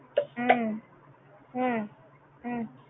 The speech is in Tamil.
ஹம் ஹம் ஹம்